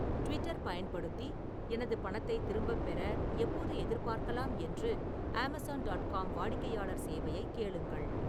Twitter பயன்படுத்தி எனது பணத்தைத் திரும்பப் பெற எப்போது எதிர்பார்க்கலாம் என்று அமேசான் டாட் காம் வாடிக்கையாளர் சேவையைக் கேளுங்கள்